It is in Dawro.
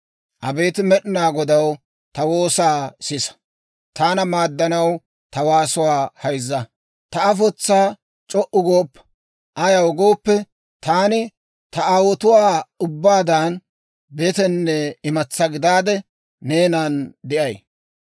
«Abeet Med'inaa Godaw, ta woosaa sisa; taana maaddanaw ta waasuwaa hayzza. Ta afotsaa c'o"u gooppa; ayaw gooppe, taani ta aawotuwaa ubbaadan betenne imatsaa gidaade, neenana de'ay.